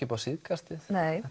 upp á síðkastið